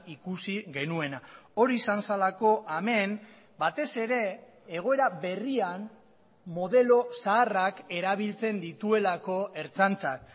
ikusi genuena hori izan zelako hemen batez ere egoera berrian modelo zaharrak erabiltzen dituelako ertzaintzak